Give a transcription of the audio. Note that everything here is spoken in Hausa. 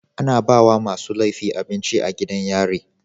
Ana bawa masu lefi abinci a gidan yari